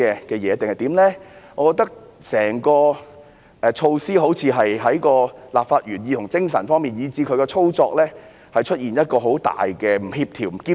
我認為整項措施好像在立法原意、精神以至操作方面，都極為不協調和不兼容。